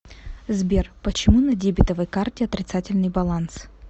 сбер почему на дебетовой карте отрицательный баланс